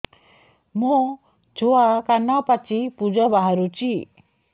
ମୋ ଛୁଆ କାନ ପାଚି ପୂଜ ବାହାରୁଚି